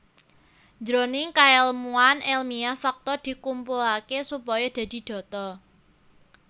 Jroning kaèlmuan èlmiah fakta dikumpulaké supaya dadi data